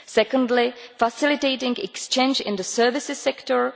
secondly, facilitating exchange in the services sector